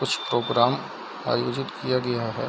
कुछ प्रोग्राम आयोजित किया गया है।